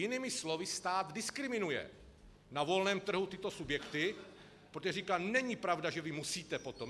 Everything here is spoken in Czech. Jinými slovy, stát diskriminuje na volném trhu tyto subjekty, protože říká: Není pravda, že vy musíte potom.